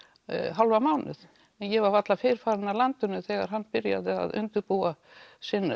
hálfan mánuð en ég var varla fyrr farin af landinu þegar hann byrjaði að undirbúa sinn